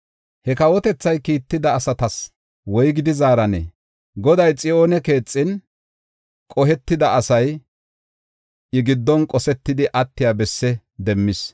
He kawotethay kiitida asatas woygidi zaaranee? Goday Xiyoone keexin, qohetida asay I giddon qosetidi attiya bessi demmis.